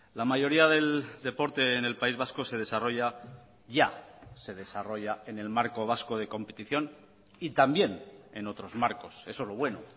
la mayoría del deporte en el país vasco se desarrolla ya se desarrolla en el marco vasco de competición y también en otros marcos eso es lo bueno